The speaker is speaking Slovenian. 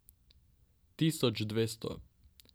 Tisoč dvesto.